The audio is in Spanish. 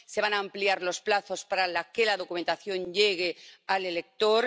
se van a ampliar los plazos para que la documentación llegue al elector